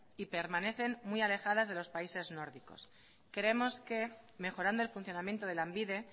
y permanecen muy alejada de los países nórdicos creemos que mejorando el funcionamiento de lanbide